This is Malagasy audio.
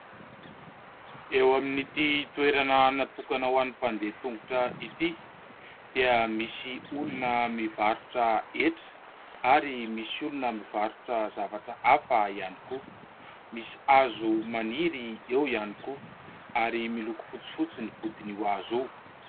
Eo amin'ity toerana natokana ho an'ny mpandeha tongotra ity dia misy olona mivarotra hetra ary misy olona mivarotra zavatra hafa ihany koa. Misy hazo maniry eo ihany koa ary miloko fotsifotsy ny vodin'io hazo io.